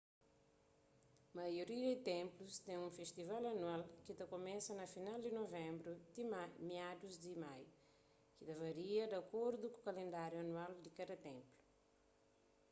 maioria di ténplus ten un festival anual ki ta kumesa na final di nuvenbru ti miadus di maiu ki ta varia di akordu ku kalendáriu anual di kada ténplu